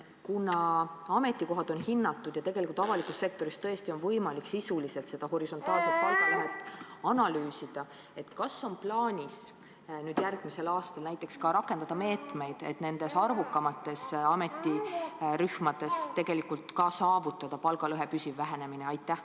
Kuna ametikohad on hinnatud ja avalikus sektoris tõesti on võimalik sisuliselt seda horisontaalset palgalõhet analüüsida, ma küsingi: kas on plaanis järgmisel aastal rakendada meetmeid, et nendes arvukamates ametirühmades ka saavutada palgalõhe püsiv vähenemine?